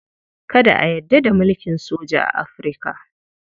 Kada a yarda da mulkin soja a Afirka.